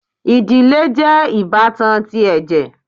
Ìdílé jẹ ibatan tí ẹjẹ